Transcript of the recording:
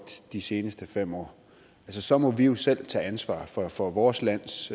de seneste fem år så må vi jo selv tage ansvar for for vores lands